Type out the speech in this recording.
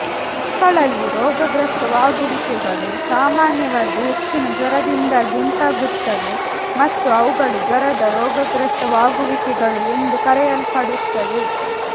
ಮಕ್ಕಳಲ್ಲಿ ರೋಗಗ್ರಸ್ತವಾಗುವಿಕೆಗಳು ಸಾಮಾನ್ಯವಾಗಿ ಹೆಚ್ಚಿನ ಜ್ವರದಿಂದಾಗಿ ಉಂಟಾಗುತ್ತವೆ ಮತ್ತು ಅವುಗಳು ಜ್ವರದ ರೋಗಗ್ರಸ್ತವಾಗುವಿಕೆಗಳು ಎಂದು ಕರೆಯಲ್ಪಡುತ್ತವೆ